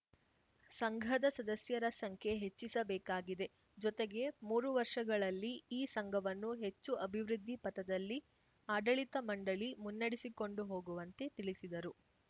ಸಂಘದ ಸದಸ್ಯರ ಸಂಖ್ಯೆ ಹೆಚ್ಚಿಸಬೇಕಾಗಿದೆ ಜೊತೆಗೆ ಮೂರು ವರ್ಷಗಳಲ್ಲಿ ಈ ಸಂಘವನ್ನು ಹೆಚ್ಚು ಅಭಿವೃದ್ಧಿ ಪಥದಲ್ಲಿ ಆಡಳಿತ ಮಂಡಳಿ ಮುನ್ನಡೆಸಿಕೊಂಡು ಹೋಗುವಂತೆ ತಿಳಿಸಿದರು